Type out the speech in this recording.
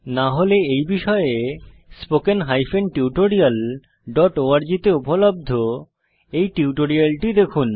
না হলে এই বিষয়ে spoken hyphen tutorial dot org তে উপলব্ধ এই টিউটোরিয়ালটি দেখুন